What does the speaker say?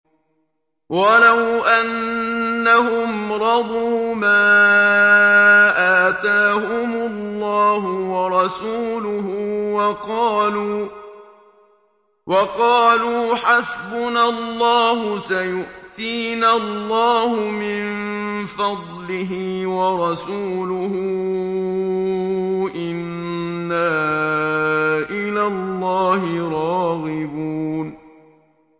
وَلَوْ أَنَّهُمْ رَضُوا مَا آتَاهُمُ اللَّهُ وَرَسُولُهُ وَقَالُوا حَسْبُنَا اللَّهُ سَيُؤْتِينَا اللَّهُ مِن فَضْلِهِ وَرَسُولُهُ إِنَّا إِلَى اللَّهِ رَاغِبُونَ